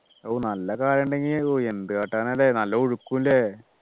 നല്ല ഒക്കെ ആഴം ഉണ്ടെങ്കിൽ പോയി എന്ത് കാട്ടാനാ ല്ലേ നല്ല ഒഴുക്കും ഇല്ലേ